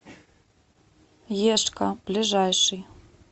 ешька ближайший